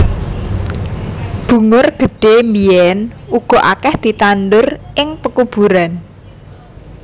Bungur gedhé biyèn uga akèh ditandur ing pekuburan